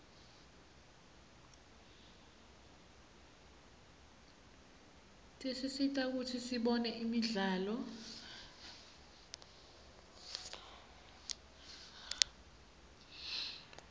tisisita kutsi sibone imidlalo